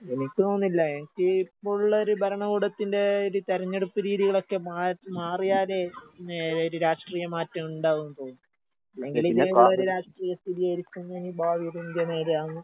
എനിക്ക് തോന്നുന്നില്ല എനിക്ക് ഇപ്പുള്ളൊര് ഭരണ കൂടത്തിന്റെ ഒരു തെരഞ്ഞെടുപ്പ് രീതികളൊക്കെ മാറ്റ് മാറിയാലേ ഇനി ഒരു രാഷ്ട്രീയ മാറ്റം ഉണ്ടാവുംന്ന് തോന്നുന്നുള്ളൂ. ഇല്ലെങ്കില് ഇങ്ങനെയുള്ളൊരു രാഷ്ട്രീയ സ്ഥിതിയായിരിക്കും ഇനി ഭാവിയിലും ഇന്ത്യ നേരിടുക